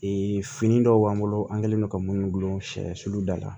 fini dɔw b'an bolo an kɛlen don ka munnu gulon sɛ sulu da la